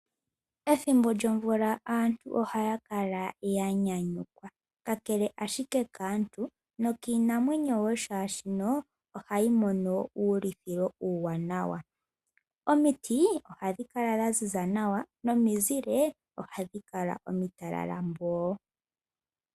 Ethimbo lyomvula aantu ohaya kala ya nyanyukwa. Kakele ashike kaantu nokiinamwenyo wo, shaashino ohayi mono wo uulithilo uuwanawa. Omiti ohadhi kala dha ziza nawa nomizile ohadhi kala omitalala mboo.